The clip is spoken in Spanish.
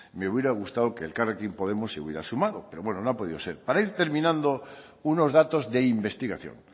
me hubiera gustado que elkarrekin podemos se hubiera sumado pero bueno no ha podido ser para ir terminando unos datos de investigación